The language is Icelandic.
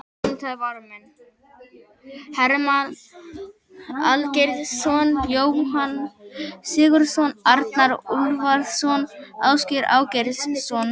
Ónotaðir varamenn: Hermann Aðalgeirsson, Jóhann Sigurðsson, Arnar Úlfarsson, Ásgeir Ásgeirsson.